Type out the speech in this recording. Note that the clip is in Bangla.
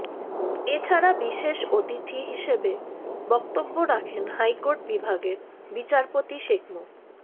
এছাড়া বিশেষ অতিথি হিসেবে বক্তব্য রাখেন হাইকোর্ট বিভাগের বিচারপতি শেখ মো